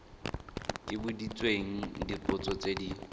ke boditswe dipotso tse di